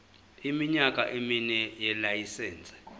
iminyaka emine yelayisense